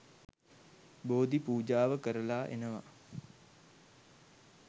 බෝධි පූජාව කරලා එනවා.